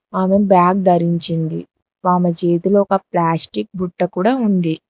ఆమె బ్యాగ్ ధరించింది ఆమె చేతిలో ఒక ప్లాస్టిక్ బుట్ట కూడా ఉంది.